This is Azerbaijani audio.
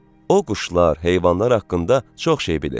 O quşlar, heyvanlar haqqında çox şey bilir.